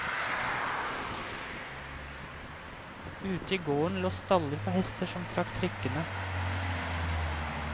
Ute i gården lå staller for hester som trakk trikkene.